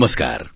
નમસ્કાર